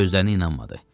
Gözlərinə inanmadı.